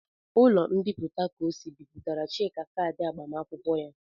Ụlọ mbipụta Kosi Bipụtara Chika kaadị agbamakwụkwọ ya.